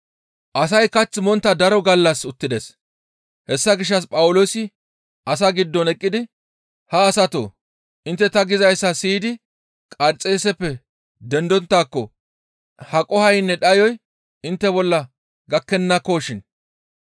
Asay kath montta daro gallas uttides; hessa gishshas Phawuloosi asaa giddon eqqidi, «Ha asatoo! Intte ta gizayssa siyidi Qarxeeseppe dendonttaako ha qohoynne dhayoy intte bolla gakkennakoshin.